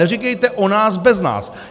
Neříkejte o nás bez nás!